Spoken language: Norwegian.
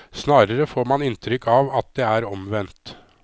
Snarere får man inntrykk av at det er omvendt.